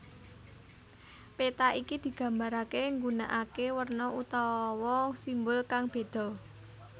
Péta iki digambaraké nggunakaké werna utawa simbol kang bédha